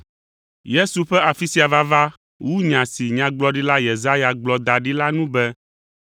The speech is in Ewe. Yesu ƒe afi sia vava wu nya si Nyagblɔɖila Yesaya gblɔ da ɖi la nu be,